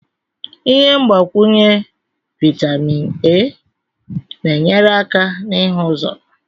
Ihe mgbakwunye vitamin A na-enyere aka n'ihu ụzọ